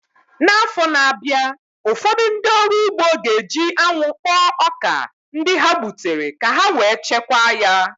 N'afọ na-abịa, ụfọdụ ndị ọrụ ugbo ga-eji anwụ kpọọ ọka ndị ha gbutere ka ha wee chekwaa ya